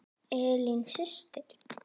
Ellý systir.